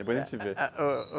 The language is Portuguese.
Depois a gente vê.